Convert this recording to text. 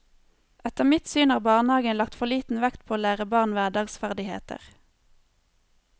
Etter mitt syn har barnehagen lagt for liten vekt på å lære barn hverdagsferdigheter.